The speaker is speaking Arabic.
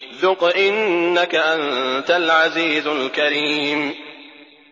ذُقْ إِنَّكَ أَنتَ الْعَزِيزُ الْكَرِيمُ